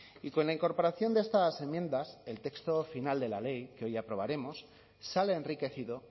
y con la incorporación de estas enmiendas el texto final de la ley que hoy aprobaremos sale enriquecido